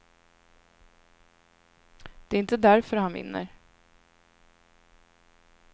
Det är inte därför han vinner.